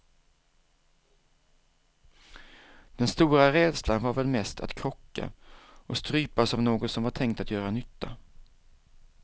Den stora rädslan var väl mest att krocka och strypas av något som var tänkt att göra nytta.